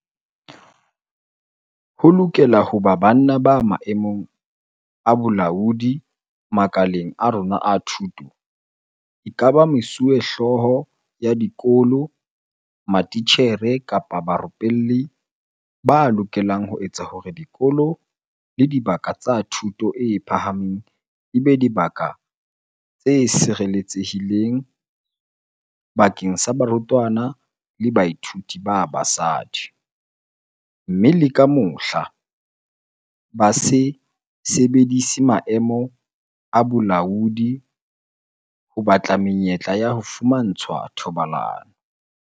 Ho lokela ho ba banna ba maemong a bolaodi makaleng a rona a thuto, ekaba mesuwehlooho ya dikolo, matitjhere kapa barupelli, ba lokelang ho etsa hore dikolo le dibaka tsa thuto e phahameng e be dibaka tse sireletse hileng bakeng sa barutwana le bathuiti ba basadi, mme le ka mohla, ba se sebedise maemo a bolaodi ho batla menyetla ya ho fumantshwa thobalano.